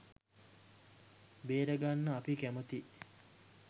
බේරගන්න අපි කැමැතියි.